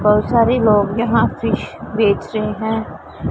बहुत सारी लोग यहां फिश बेच रहे हैं।